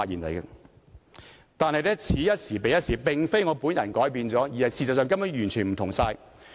不過，此一時，彼一時，並非我改變了，而是事實上根本完全不相同。